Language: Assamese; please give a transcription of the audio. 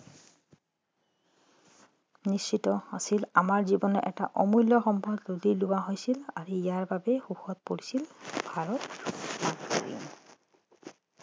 নিশ্চিত আছিল আমাৰ জীৱনৰ এটা অমূল্য সম্পদ লুটি লোৱা হৈছিল আজি ইয়াত বাবে শোকত পৰিছিল ভাৰত মাতৃ